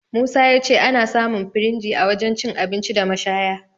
Musa ya ce ana samun firinji a wajen cin abinci da mashaya..